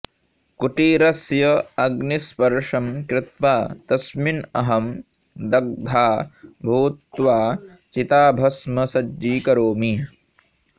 कुटीरस्य अग्निस्पर्शं कृत्वा तस्मिन अहं दग्धा भूत्वा चिताभस्म सज्जीकरोमि